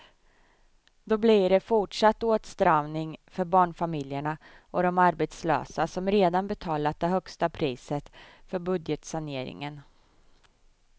Då blir det fortsatt åtstramning för barnfamiljerna och de arbetslösa som redan betalat det högsta priset för budgetsaneringen.